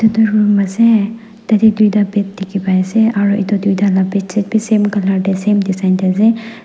edu room ase tatae tuita bed dikhipaiase aro edu tuita la bedsheet bi same colour tae same design tae ase.